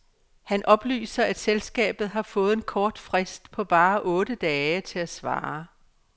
Han oplyser, at selskabet har fået en kort frist på bare otte dage til at svare.